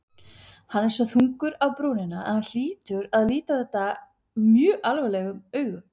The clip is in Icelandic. Hann er svo þungur á brúnina að hann hlýtur að líta þetta mjög alvarlegum augum.